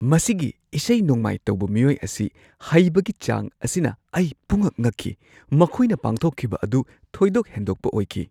ꯃꯁꯤꯒꯤ ꯏꯁꯩ-ꯅꯣꯡꯃꯥꯏ ꯇꯧꯕ ꯃꯤꯑꯣꯏ ꯑꯁꯤ ꯍꯩꯕꯒꯤ ꯆꯥꯡ ꯑꯁꯤꯅ ꯑꯩ ꯄꯨꯡꯉꯛ ꯉꯛꯈꯤ꯫ ꯃꯈꯣꯏꯅ ꯄꯥꯡꯊꯣꯛꯈꯤꯕ ꯑꯗꯨ ꯊꯣꯏꯗꯣꯛ ꯍꯦꯟꯗꯣꯛꯄ ꯑꯣꯏꯈꯤ꯫